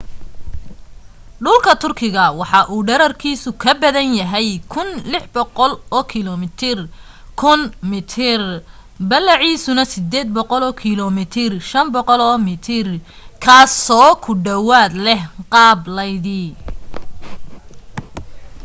dhulka turkigu waxa uu dhererkiisu ka badan yahay 1,600 kilomitir 1,000 mi ballaciisuna 800 km 500 mi kaasoo ku dhawaad leh qaab laydi